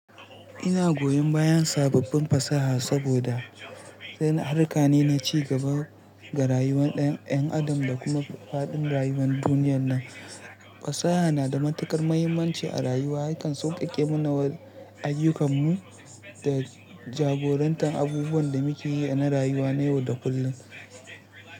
Ina goyon bayan sababbin fasaha saboda n harka ne na ci gaba ga rayuwar 'yan adam da kuma faɗin rayuwar duniyar nan. Fasaha na da matuƙar mahimmanci a rayuwa, yakan sauƙaƙe mana ayyukanmu da jagorantar abubuwan da muke yi na rayuwa na yau da kullum.